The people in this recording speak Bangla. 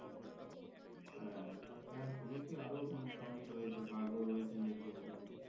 হ্যাঁ আবার শুনেছি আরো প্রাণী ও রয়েছে বাগ ও রয়রছে নাকি ওখানে।